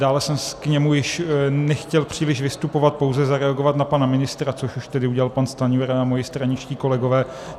Dále jsem k němu již nechtěl příliš vystupovat, pouze zareagovat na pana ministra, což už tedy udělal pan Stanjura a mí straničtí kolegové.